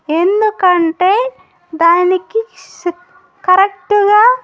ఎందుకంటే దానికి శుప్ కరెక్ట్ గా.